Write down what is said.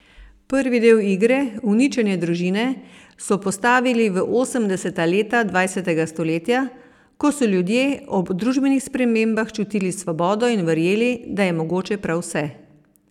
Prvi del igre, Uničenje družine, so postavili v osemdeseta leta dvajsetega stoletja, ko so ljudje ob družbenih spremembah čutili svobodo in verjeli, da je mogoče prav vse.